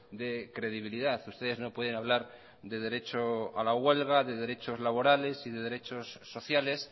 de credibilidad ustedes no pueden hablar de derecho a la huelga de derechos laborales y de derechos sociales